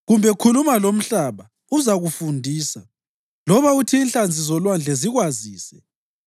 kumbe khuluma lomhlaba, uzakufundisa, loba uthi inhlanzi zolwandle zikwazise.